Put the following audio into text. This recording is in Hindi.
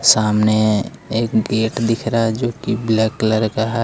सामने एक गेट दिख रहा है जोकि ब्लैक कलर का है।